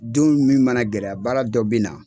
Don min mana gɛlɛya baara dɔ bi na.